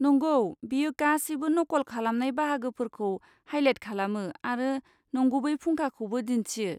नंगौ, बेयो गासैबो नकल खालामनाय बाहागोफोरखौ हाइलाइट खालामो आरो नंगुबै फुंखाखौबो दिन्थियो।